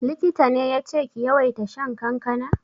Likita ne yace ki yawaita shan kankana?